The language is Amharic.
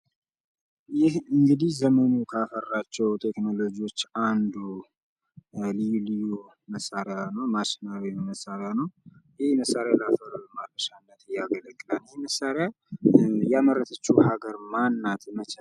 ይህ እንግዲህ ዘመኑ ካፈራቸው ቴክኖሎጂዎች አንዱ ልዩ ልዩ መሳሪያ ነው። ማሽናዊ መሳሪያ ነው። ይህ መሳሪያ ለምን ለምን ያገለግላል? ይህን መሳሪያ ያመረተችው ሀገር ማን ናት?